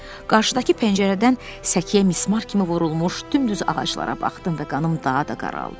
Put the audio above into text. Qarşıdakı pəncərədən səkiyə mismar kimi vurulmuş dümdüz ağaclara baxdım və qanım daha da qaraldı.